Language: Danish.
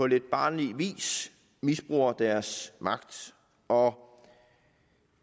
lidt barnlig vis misbruger deres magt og